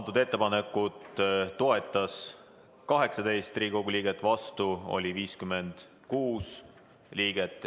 Seda ettepanekut toetas 18 Riigikogu liiget, vastu oli 56 liiget.